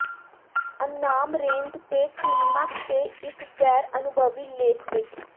ਅਨਾਮ ਰੇਂਡ ਤੇ ਕਲੀਮੈਕਸ ਤੇ ਇੱਕ ਗੈਰ ਅਨੁਭਵੀ ਲੇਖ ਵਿੱਚ